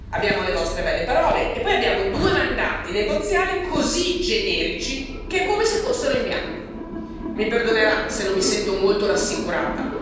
Abbiamo le vostre belle parole e poi abbiamo due mandati negoziali così generici che è come se fossero in bianco mi perdonerà se non mi sento molto rassicurata.